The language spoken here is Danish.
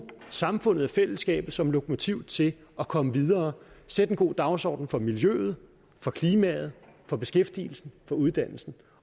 samfundet og fællesskabet som lokomotiv til at komme videre sætte en god dagsorden for miljøet for klimaet for beskæftigelsen for uddannelsen